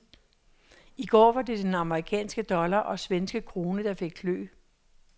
I går var det den amerikanske dollar og svenske krone, der fik klø.